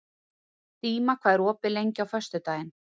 Díma, hvað er opið lengi á föstudaginn?